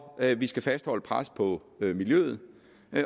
at vi skal fastholde pres på miljøet